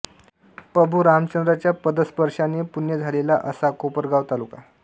प्रभू रामचंद्राच्या पदस्पर्शाने पुण्य झालेला असा कोपरगाव तालुका